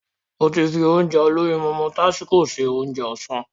Mo ti fi Ounjẹ olóyinmọmọ tásíko se Ounjẹ ọ̀sán